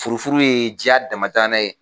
Furufuru ye diya dama tanna ye.